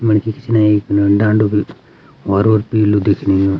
मणखी पिछनै एक ढांडू भी हौरू और पीलू दिखणियूं।